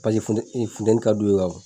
Paseke funtɛni ka d'u ye.